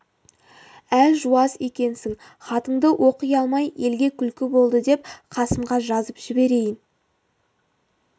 әлжуаз екенсің хатыңды оқи алмай елге күлкі болды деп қасымға жазып жіберейін